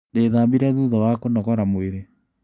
Ndĩthambire thutha wa kũnogora mwĩrĩ.